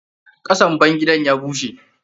Ƙasan bangidan ya bushe.